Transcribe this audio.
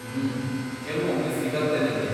ಹ್ಮ್, ಕೆಲ್ವೊಮ್ಮೆ ಸಿಗತ್ತೆ ನಂಗೆ.